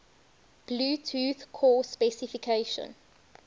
bluetooth core specification